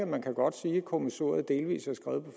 man kan godt sige at kommissoriet delvis er skrevet